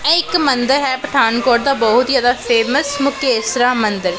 ਇਹ ਇੱਕ ਮੰਦਰ ਹੈ ਪਠਾਨਕੋਟ ਦਾ ਬਹੁਤ ਜਿਆਦਾ ਫੇਮਸ ਮੁਕੇਸ਼ਰਾ ਮੰਦਰ।